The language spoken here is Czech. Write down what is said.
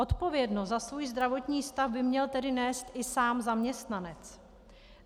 Odpovědnost za svůj zdravotní stav by měl tedy nést i sám zaměstnanec.